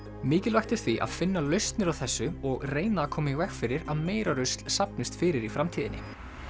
mikilvægt er því að finna lausnir á þessu og reyna að koma í veg fyrir að meira rusl safnist fyrir í framtíðinni